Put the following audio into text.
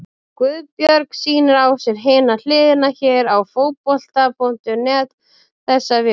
Guðbjörg sýnir á sér Hina hliðina hér á Fótbolti.net þessa vikuna.